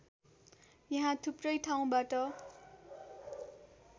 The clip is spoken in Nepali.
यहाँ थुप्रै ठाउँबाट